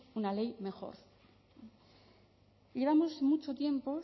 una ley mejor llevamos mucho tiempo